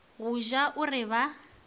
go ja o re ba